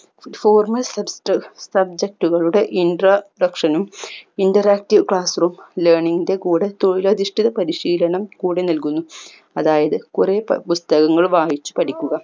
formal structure subject കളുടെ intra section നും interactive class room learning ൻ്റെ കൂടെ തൊഴിലധിഷ്ടിത പരിശീലനം കൂടെ നൽകുന്നു അതായത് കൊറേ പ പുസ്‌തകങ്ങൾ വായിച്ച് പഠിക്കുക